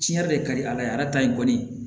Tiɲɛ yɛrɛ de ka di ala ye arata in kɔni